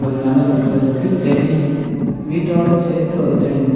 ஒரு நல்ல லூக்ல இருக்கு செடி வீட்டோட சேத்து ஒரு செடி நட்--